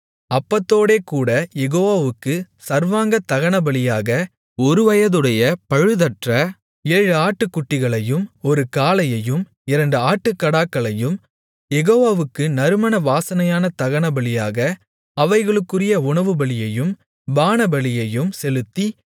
அப்பத்தோடேகூடக் யெகோவாவுக்குச் சர்வாங்கதகனபலியாக ஒருவயதுடைய பழுதற்ற ஏழு ஆட்டுக்குட்டிகளையும் ஒரு காளையையும் இரண்டு ஆட்டுக்கடாக்களையும் யெகோவாவுக்கு நறுமண வாசனையான தகனபலியாக அவைகளுக்குரிய உணவுபலியையும் பானபலியையும் செலுத்தி